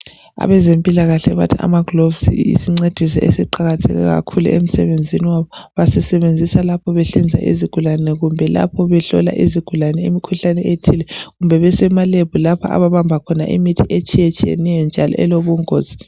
Abezempilakahle bathi amagloves yisincediso esiqakatheke kakhulu emsebenzini wabo. Basisebenzisa lapho behlinza izigulane kumbe lapho behlola izigulane imkhuhlane ethile, kumbe besema lab lapho ababamba khona imithi etshiyeneyo njalo elobungozi.